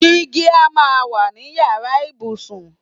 Digi a máa wà ní yàrá ìbùsùn.